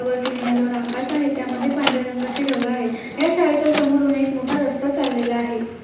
वरती निळेभोर आकाश आहे त्यामध्ये पांढऱ्या रंगाचे ढग आहेत या शाळेच्या समोरून एक मोठा रस्ता चाललेला आहे.